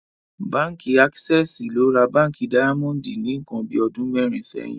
Bánkì Àkísẹsì ló rà Bánkì Daimondì ní nkan bí ọdún mẹrin síyìn